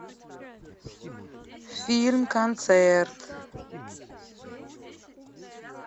фильм концерт